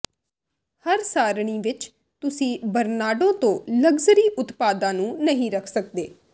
ਹਰ ਸਾਰਣੀ ਵਿਚ ਤੁਸੀਂ ਬਰਨਾਰਡੋ ਤੋਂ ਲਗਜ਼ਰੀ ਉਤਪਾਦਾਂ ਨੂੰ ਨਹੀਂ ਰੱਖ ਸਕਦੇ